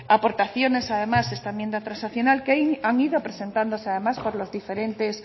aportaciones además esta enmienda transaccional que han ido presentándose además por los diferentes